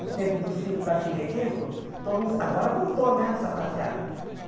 No tempo dos filmes da Chile e Templo, todo mundo agora voltou, né, o sapateado.